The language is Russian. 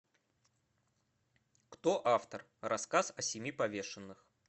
кто автор рассказ о семи повешенных